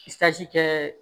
kɛ